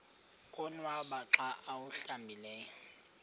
konwaba xa awuhlambileyo